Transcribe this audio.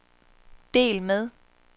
del med